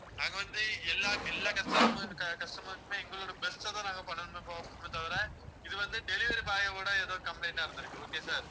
நாங்க வந்து எல்லா எல்லா customer உம் customers சுமே எங்களோட best அ தான் நாங்க பண்ணணுமே தவிர இது வந்து delivery boy ஓட ஏதோ complaint ஆ இருந்திருக்கு okay sir